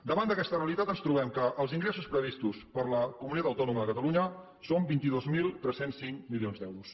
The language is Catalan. davant d’aquesta realitat ens trobem que els ingressos previstos per la comunitat autònoma de catalunya són vint dos mil tres cents i cinc milions d’euros